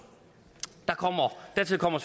dertil kommer